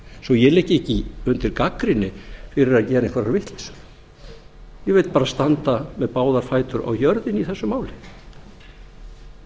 svo ég liggi ekki undir gagnrýni fyrir að gera einhverja vitleysu ég vil bara standa með báða fætur á jörðinni í þessu máli það